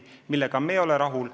Me ei ole siiski sellegagi rahul.